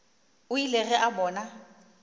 o ile ge a bona